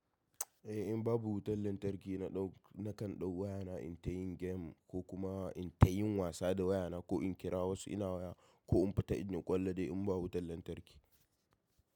Eh in babu wutar lantarki na kan ɗau wayana in ta yin game ko kuma in ta yin wasa da wayana ko in kira wasu ina waya ko in fita in yi ƙwallo dai in babu wutar lantarki.